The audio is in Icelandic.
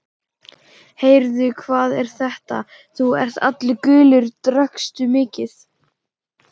Heyrðu, hvað er þetta, þú ert allur gulur, drakkstu mikið?